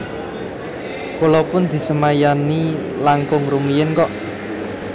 Kula pun disemayani langkung rumiyin kok